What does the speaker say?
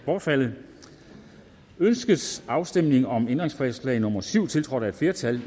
bortfaldet ønskes afstemning om ændringsforslag nummer syv ni tiltrådt af et flertal